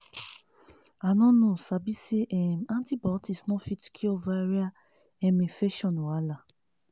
i no know sabi say um antibiotic no fit cure viral um infection wahala.